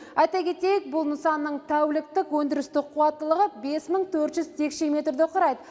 айта кетейік бұл нысанның тәуліктік өндірістік қуаттылығы бес мың төрт жүз текше метрді құрайды